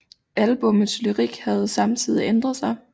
Albummets lyrik havde samtidig ændret sig